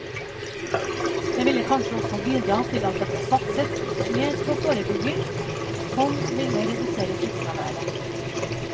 Det ville kanskje også bidra til at det ble satset mer på forebygging som ville redusere sykefraværet.